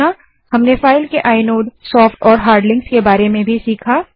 हमने फाइल के inode soft और हार्ड लिंक्स के बारे में भी सीखा